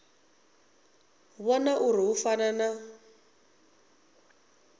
vhona uri hu fana na